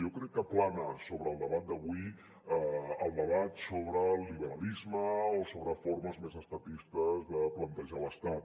jo crec que plana sobre el debat d’avui el debat sobre el liberalisme o sobre formes més estatistes de plantejar l’estat